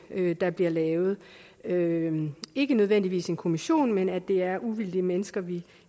der bliver lavet ikke ikke nødvendigvis en kommission men at det er uvildige mennesker vi